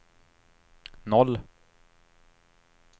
noll